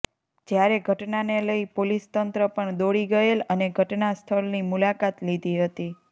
જ્યારે ઘટનાને લઈ પોલીસ તંત્ર પણ દોડી ગયેલ અને ઘટના સ્થલની મુલાકાત લીધી હતી